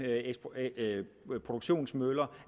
produktionsmøller